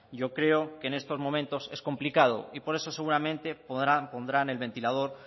yo creo que en estos momentos es complicado y por eso seguramente pondrán el ventilador